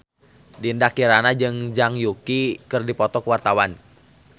Dinda Kirana jeung Zhang Yuqi keur dipoto ku wartawan